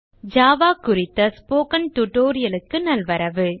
Eclipse மூலம் Java ல் hello world குறித்த ஸ்போக்கன் tutorial க்கு நல்வரவு